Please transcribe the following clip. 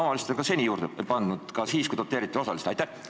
Omavalitsused on ka seni juurde pannud, ka siis, kui seda osaliselt doteeriti.